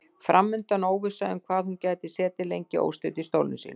Fram undan óvissa um hvað hún gæti setið lengi óstudd í stólnum sínum.